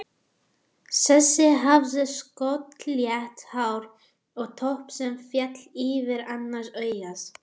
Þessi hafði skolleitt hár og topp sem féll yfir annað augað.